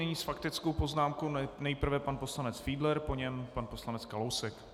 Nyní s faktickou poznámkou nejprve pan poslanec Fiedler, po něm pan poslanec Kalousek.